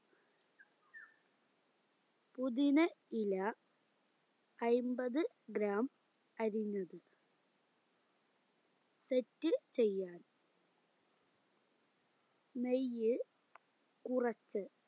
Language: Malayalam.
പുതിന ഇല അയിമ്പത് gram അരിഞ്ഞത് set ചെയ്യാൻ നെയ്യ് കുറച്ച്